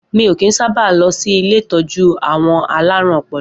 Mi o kín sábà lọ sí ilé ìtọ́jú àwọn alárùn ọpọlọ.